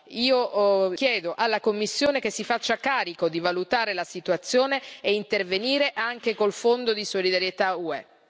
Io chiedo alla Commissione che si faccia carico di valutare la situazione e intervenire anche con il Fondo di solidarietà UE.